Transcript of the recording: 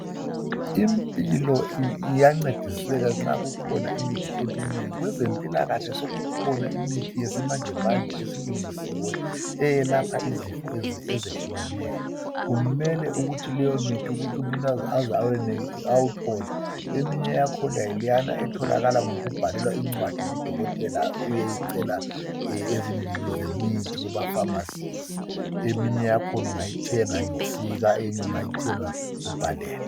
Impilo iyancediseka nxa kulemithi eminengi. Kwezempilakahle sekukhona imithi yesimanjemanje esilungisiwe eyelapha izifo ezehlukeneyo. Kumele ukuthi leyo mithi umuntu ayibhalelwe phansi ngudokotela esibhedlela abe sesiyathenga ezitolo ezithengisa imithi. Eminye ungayithenga loba ungelancwadi kadokotela.